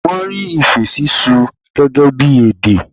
Wọ́n rí ìfé sísú gẹ́gẹ́ bí èdè.